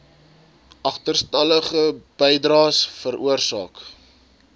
agterstallige bydraes veroorsaak